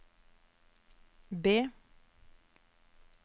B